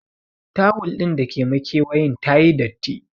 Tawul din da ke makewayen tayi datti.